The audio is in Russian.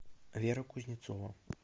вера кузнецова